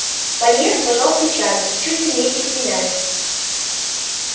пониетс пожал плечами чуть ли не извиняясь